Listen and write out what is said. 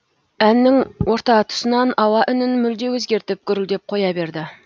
әннің орта тұсынан ауа үнін мүлде өзгертіп гүрілдеп қоя берді